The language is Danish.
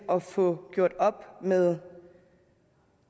at få gjort op med